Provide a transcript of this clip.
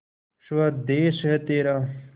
स्वदेस है तेरा